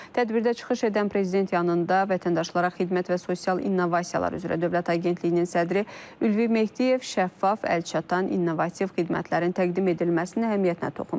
Tədbirdə çıxış edən Prezident yanında Vətəndaşlara Xidmət və Sosial İnnovasiyalar üzrə Dövlət Agentliyinin sədri Ülvi Mehdiyev şəffaf, əlçatan innovativ xidmətlərin təqdim edilməsinin əhəmiyyətinə toxunub.